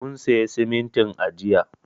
Mun siya simintin a jiya.